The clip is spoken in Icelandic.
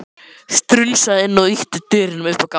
Strunsaði inn og ýtti dyrunum upp á gátt.